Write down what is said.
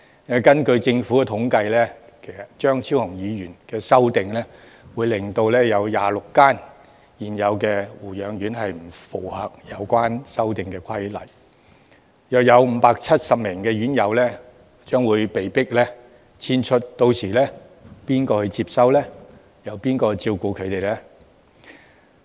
根據政府的統計，張超雄議員的修訂若獲得通過，會有26間現有護養院不符合修訂後的規定，大約570名院友將被迫遷出，屆時誰可接收和照顧他們呢？